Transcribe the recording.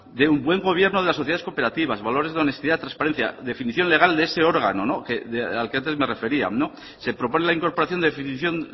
de un buen gobierno de las sociedades cooperativas valores donde honestidad trasparencia definición legal de ese órgano no al que antes me refería no se propone la incorporación definición